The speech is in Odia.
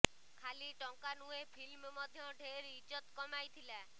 ଖାଲି ଟଙ୍କା ନୁହେଁ ଫିଲ୍ମ ମଧ୍ୟ ଢେର ଇଜତ୍ କମାଇଥିଲା